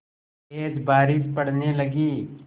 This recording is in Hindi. तेज़ बारिश पड़ने लगी